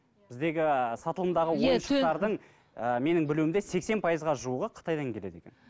біздегі сатылымдағы ойыншықтардың ыыы менің білуімде сексен пайызға жуығы қытайдан келеді екен